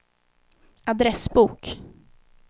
adressbok